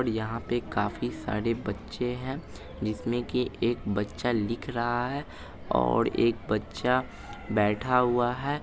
और यहाँ पर काफी सारे बच्चे हैं जिसमें की एक बच्चा लिख रहा है और एक बच्चा बैठा हुआ है।